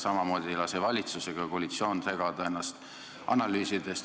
Samamoodi ei lase valitsus ega koalitsioon ennast analüüsidest segada.